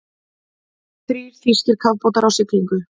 Þrír þýskir kafbátar á siglingu.